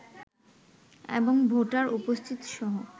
এবং ভোটার উপস্থিতিসহ